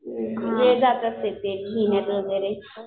वेळ जात असेल लिहिण्यात वगैरे.